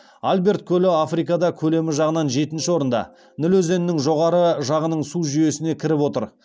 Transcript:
альберт көлі африкада көлемі жағынан жетінші орында ніл өзенінің жоғары жағының су жүйесіне кіріп отыр